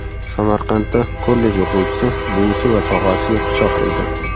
Samarqandda kollej o‘quvchisi buvisi va tog‘asiga pichoq urdi.